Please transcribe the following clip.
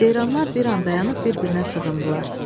Ceyranlar bir an dayanıb bir-birinə sığındılar.